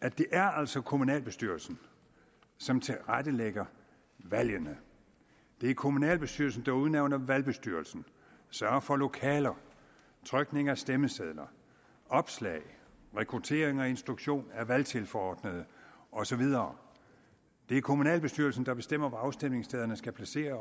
at det altså er kommunalbestyrelsen som tilrettelægger valgene det er kommunalbestyrelsen der udnævner valgbestyrelsen sørger for lokaler trykning af stemmesedler opslag rekruttering og instruktion af valgtilforordnede og så videre det er kommunalbestyrelsen der bestemmer hvor afstemningsstederne skal placeres